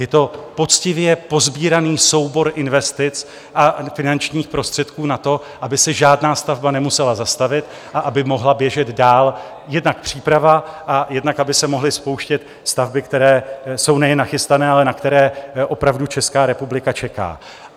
Je to poctivě posbíraný soubor investic a finančních prostředků na to, aby se žádná stavba nemusela zastavit a aby mohla běžet dál jednak příprava a jednak aby se mohly spouštět stavby, které jsou nejen nachystané, ale na které opravdu Česká republika čeká.